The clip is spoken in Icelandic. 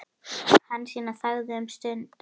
Hansína þagði um stund.